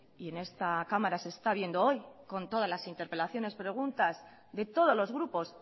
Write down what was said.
y en esta cámara se está viendo hoy con todas las interpelaciones preguntas de todos los grupos